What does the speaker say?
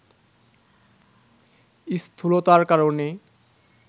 স্থূলতার কারণে